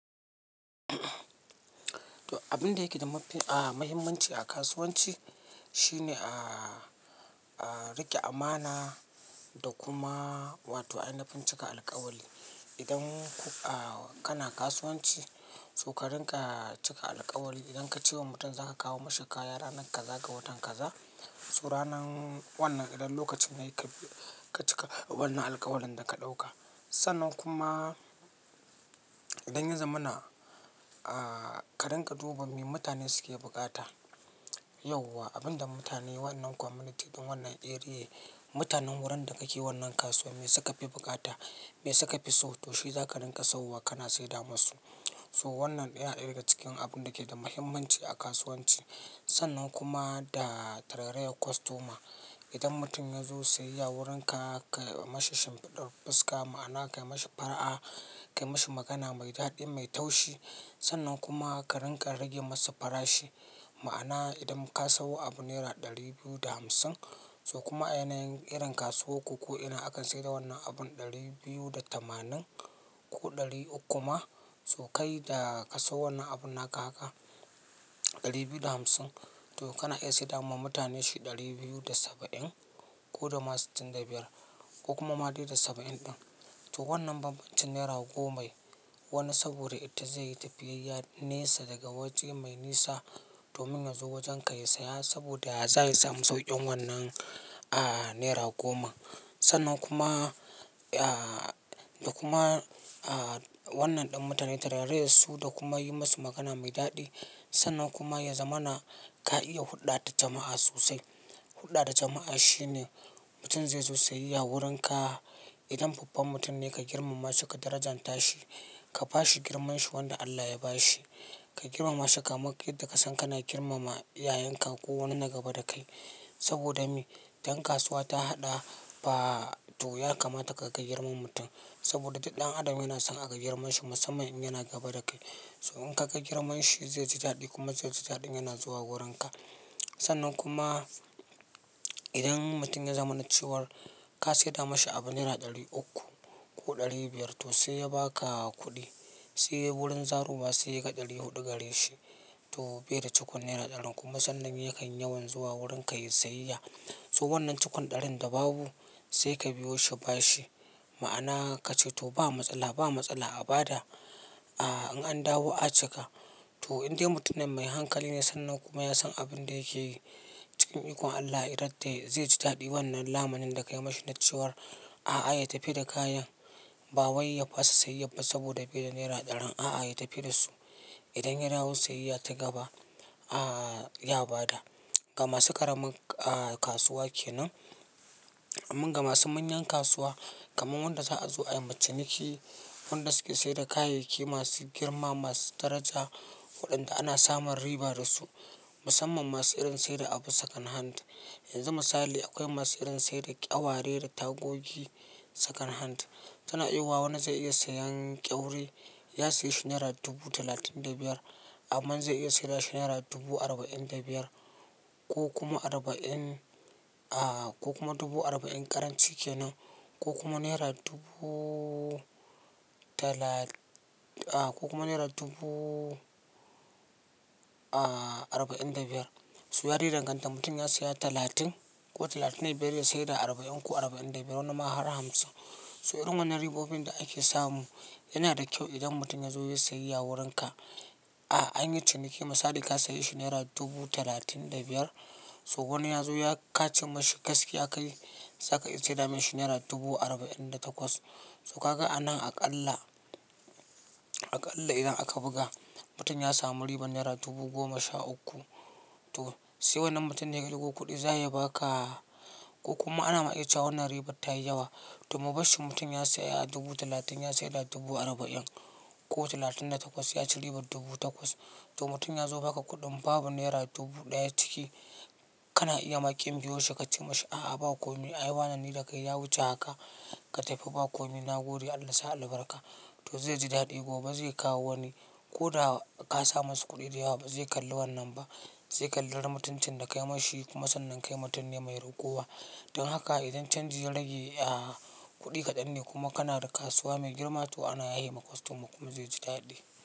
Abin da yake da mafi, ah, mahimmanci a kasuwanci, shine, a, a riƙe amana, da kuma, wato ainafin cika alkawali. Idan, ku, a, kana kasuwanci, so ka rinƙa cika alkawali. Idan ka ce wa mutum za ka kawo mashi kaya ranar kaza ga watan kaza, so ranan, wannan idan lokacin yayi ka bi, ka cika wannan alkawalin da ka ɗauka. Sannan kuma, idan ya zamana, a, ka rinƙa duba me mutane suke buƙata. Yauwa, abun da mutane wannan community, wannan area, mutanen wurin da kake wannan kasuwa me suka fi bukata, me suka fi so, to shi za ka rinƙa sauwa kana saida masu. So wannan yana ɗaya daga cikin abun da ke da mahimmanci a kasuwanci. Sannan kuma da, tarairayar customer. Idan mutum ya zo siyayya wurinka, ka, ma shi shimfiɗar fuska, ma'ana ka yi ma shi fara'a, ka yi ma shi magana mai daɗi mai taushi. Sannan kuma, ka rinƙa rage masa farashi. Ma'ana idan ka sawo abu naira ɗari biyu da hamsin, so kuma a yanayin irin kasuwar ku ko ina akan saida wannan abun ɗari biyu da tamanin, ko ɗari uku ma, so kai da ka sawo wannan abun naka haka ɗari biyu da hamsin, to kana iya saida ma mutane shi ɗari biyu da saba'in, ko da ma sittin da biyar ko kuma ma de da saba'in ɗin. To wannan bambancin naira gomai, wani saboda ita zai yi tafiyayya nesa daga waje mai nisa, domin ya zo wajen ka ya saya saboda za ya samu sauƙin wannan, a, naira goma. Sannan kuma, a, da kuma, a, wannan ɗin mutane tarairayar su da kuma yi musu magana mai daɗi. Sannan kuma ya zamana ka iya huɗda da jama'a sosai. Huɗa da jama'a shine mutum zai zo siyayya wurinka, idan babban mutum ne ka girmama su ka darajanta shi, ka ba shi girmanshi wanda Allah ya ba shi. Ka girmama shi kamak yadda ka san kana girmama iyayenka ko wani na gaba da kai. Saboda me? Dan kasuwa ta haɗa ba, to ya kamata ka ka, girma ma mutum, saboda duk ɗan adam yana san aga girman shi musamman in yana gaba da kai. So in ka kai girmanshi zai ji daɗi kuma zai ji daɗin yana zuwa wurinka. Sannan kuma, idan, mutum ya zamana cewar, ka saida mashi abu naira ɗari uku, ko ɗari biyar to sai ya ba ka kuɗi, se wurin zarowa se ya ga ɗari huɗu gare shi, to be da cikon naira ɗarin kuma sannan yakan yawan zuwa wurin ka yayi siyayya. So wannan cikun ɗarin da babu, se ka biyo shi ba shi, ma'ana kace to ba matsala, ba matsala a ba da, a, in an dawo a cika. To, in de mutumin mai hankali ne sannan kuma ya san abin da yake yi, cikin ikon Allah idan dai zai ji daɗin wannan lamunin da ka yi mashi na cewar, a'a, ya tafi da kayan. Ba wai ya fasa siyayyabba saboda bai da naira ɗarin. A'a, ya tafi da su. Idan ya dawo siyayya ta gaba, a, ya ba da. Ga masu ƙaramin, a, kasuwa kenan. Amman ga masu manyan kasuwa, kaman wanda za'azo aima ciniki, wanda suke saida kayayyaki masu girma, masu daraja, waɗanda ana samun riba da su musamman masu irin saida abu second hand. Yanzu misali akwai masu irin saida ƙyaware da tagogi second hand. Tana iya yiwa wani zai iya sayan ƙyaure, ya siye shi naira dubu talatin da biyar. Amman zai iya saida shi naira dubu arba'in da biyar, ko kuma arba'in, a, ko kuma dubu arba'in karanci kenan, ko kuma naira dubu, tala, a, ko kuma naira dubu, a, arba'in da biyar. So ya de danganta mutum ya siya talatin, ko talatin da biyar ya saida arba'in ko arba'in da biyar wani ma har hamsin. So irin wannan ribobin da ake samu, yana da kyau idan mutum ya zo yayi siyayya wurinka. A, an yi ciniki misali ka saye shi naira dubu talatin da biyar. So wani ya zo ya kace mashi gaskiya ka yi, za ka iya saida mashi naira dubu arba'in da takwas. So ka ga anan aƙalla, aƙalla idan aka buga, mutum ya samu ribar naira dubu goma sha uku. To, se wannan mutum ya ebo kuɗi za ya ba ka, ko kuma ana ma iya cewa wannan ribar ta yi yawa. To mu bar shi mutum ya saya dubu talatin ya saida dubu arba'in, ko talatin da takwas ya ci ribar dubu takwas. To mutum ya zo baka kuɗin babu naira dubu ɗaya ciki, kana iya ma ƙin biyo shi ka ce masa a'a ba ko me ai wane ni da kai ya wuce haka ka tafi ba ko mi nagode Allah sa albarka. To zai ji daɗi gobe zai kawo wani, ko da ka samu su kuɗi da yawa ba zai kalli wannan ba. Zai kalli mutuncin da ka yi mashi kuma sannan kai mutum ne mai ragowa. Don haka idan canji ya rage, a, kuɗi kaɗan ne kuma kana da kasuwa mai girma to ana yahe ma kostoma kuma zai ji daɗi.